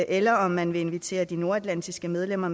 eller om man vil invitere de nordatlantiske medlemmer